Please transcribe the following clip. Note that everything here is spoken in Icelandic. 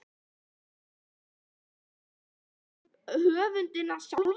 Átti það ekki líka við um höfundinn sjálfan?